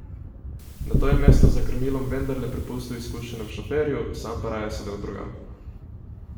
Nato je mesto za krmilom vendarle prepustil izkušenemu šoferju, sam pa raje sedel drugam.